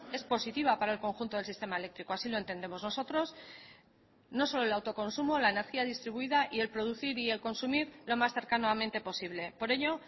es positiva para el conjunto del sistema eléctrico así lo entendemos nosotros no solo el autoconsumo la energía distribuida y el producir y el consumir lo más cercanamente posible por ello